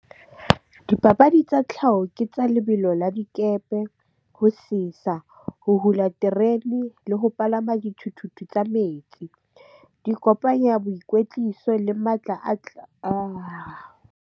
Dipapadi tsa tlhaho ke tsa lebelo la dikepe, ho sesa, ho hula terene le ho palama dithuthuthu tsa metsi. Di kopanya boikwetliso le matla .